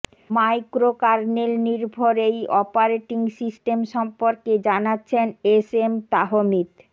মাইক্রোকার্নেলনির্ভর এই operating system সম্পর্কে জানাচ্ছেন এস এম তাহমিদ